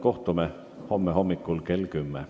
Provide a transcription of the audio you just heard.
Kohtume homme hommikul kell 10.